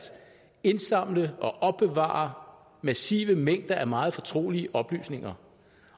indsamle og opbevare massive mængder af meget fortrolige oplysninger